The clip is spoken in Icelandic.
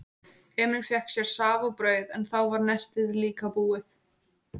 Emil fékk sér safa og brauð en þá var nestið líka búið.